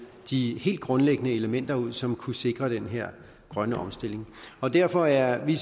de helt grundlæggende elementer ud som kunne sikre den her grønne omstilling derfor er vi